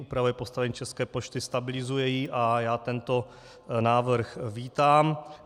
Upravuje postavení České pošty, stabilizuje ji a já tento návrh vítám.